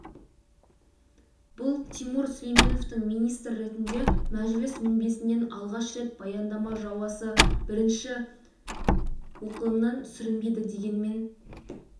бұл тимур сүлейменовтың министр ретінде мәжіліс мінбесінен алғаш рет баяндама жауасы бірінші оқылымнан сүрінбеді дегенмен